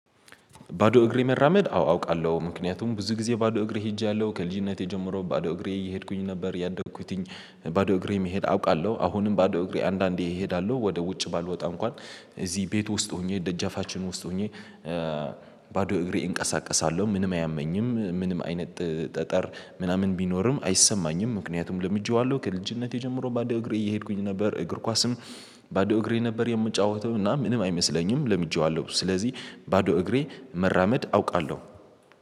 ባዶ እግሬ መራመድ አው አውቃለሁ ምክንያቱም ብዙ ጊዜ ባዶ እግሬ ሄጃለሁ ከልጅነቴ ጀምሮ ባዶ እግሬ እየሄድኩኝ ነበር ያደኩትኝ። ባዶ እግሬ መሄድ አውቃለሁ አሁንም ባዶ እግሬ አንዳንዴ እሄዳለሁ ወደ ውጭ ባልወጣ እንኳን እዚህ ቤት ውስጥ ሆኜ ደጃፋችን ውስጥ ሆኜ። ባዶ እግሬ እንቀሳቀሳለሁ ምንም አያመኝም ምንም አይነት ጠጠር ምናምን ቢኖርም አይሰማኝም ምክንያቱም ለምጄዋለሁ ከልጅነቴ ጀምሮ ባዶ እግሬ እየሄድኩኝ ነበር። እግር ኳስም ባዶ እግሬ ነበር የምጫወተው እና ምንም አይመስለኝም ለምጄዋለሁ ስለዚህ። ባዶ እግሬ መራመድ አውቃለሁ።